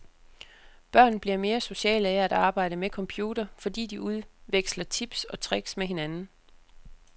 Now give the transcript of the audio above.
Børn bliver mere sociale af at arbejde med computer, fordi de udveksler tips og tricks med hinanden.